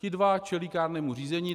Ti dva čelí kárnému řízení.